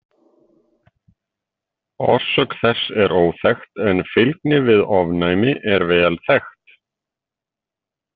Orsök þess er óþekkt en fylgni við ofnæmi er vel þekkt.